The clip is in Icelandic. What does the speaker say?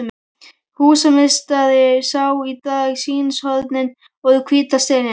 Húsameistari sá í dag sýnishornin úr hvíta steininum.